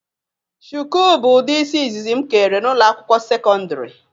Shụkụ bụ ụdị isi ịzịzị m kere na ụlọ akwụkwọ sekọndrị.